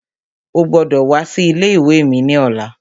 Ó gbọ́dọ̀ wá sí ilé ìwé ní ọ̀la